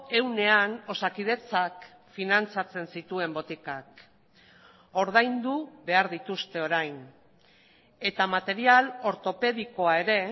ehunean osakidetzak finantzatzen zituen botikak ordaindu behar dituzte orain eta material ortopedikoa ere